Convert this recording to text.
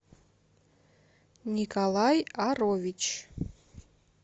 николай арович